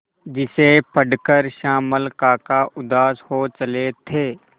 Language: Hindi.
जिसे पढ़कर श्यामल काका उदास हो चले थे